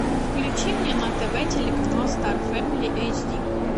включи мне на тв телеканал стар фэмили эйч ди